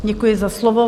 Děkuji za slovo.